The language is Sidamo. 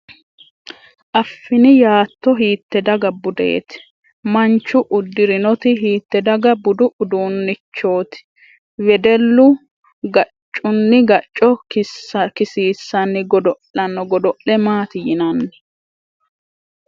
Affini yaatto hiitte daga budeeti ? Manchu Uddurinoti hiitte daga budue udduunnichooti ? Wedellu gaccunni gacco kisiisanni godo'lanno godo'le maaati yinanni ?